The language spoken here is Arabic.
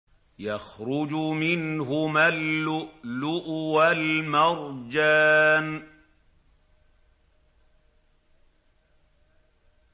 يَخْرُجُ مِنْهُمَا اللُّؤْلُؤُ وَالْمَرْجَانُ